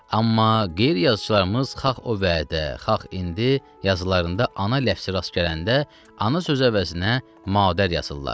Amma qeyri-yazıçılarımız xax o vədə, xax indi yazılarında ana ləfzi rast gələndə ana söz əvəzinə madər yazırlar.